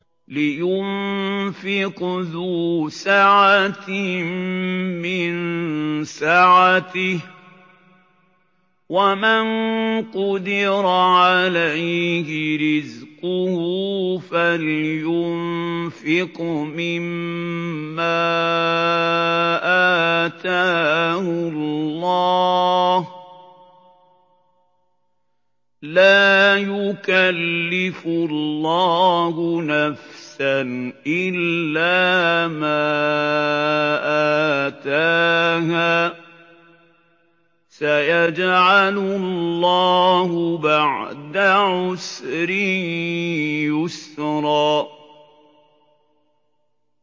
لِيُنفِقْ ذُو سَعَةٍ مِّن سَعَتِهِ ۖ وَمَن قُدِرَ عَلَيْهِ رِزْقُهُ فَلْيُنفِقْ مِمَّا آتَاهُ اللَّهُ ۚ لَا يُكَلِّفُ اللَّهُ نَفْسًا إِلَّا مَا آتَاهَا ۚ سَيَجْعَلُ اللَّهُ بَعْدَ عُسْرٍ يُسْرًا